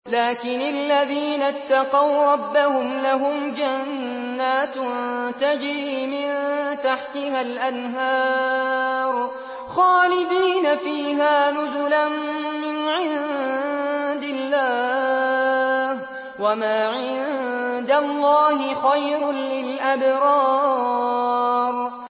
لَٰكِنِ الَّذِينَ اتَّقَوْا رَبَّهُمْ لَهُمْ جَنَّاتٌ تَجْرِي مِن تَحْتِهَا الْأَنْهَارُ خَالِدِينَ فِيهَا نُزُلًا مِّنْ عِندِ اللَّهِ ۗ وَمَا عِندَ اللَّهِ خَيْرٌ لِّلْأَبْرَارِ